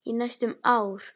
Í næstum ár.